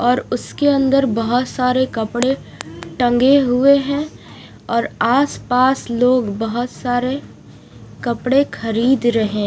और उसके अंदर बहुत सारे कपड़े टंगे हुए हैं और आसपास लोग बहुत सारे कपड़े खरीद रहे--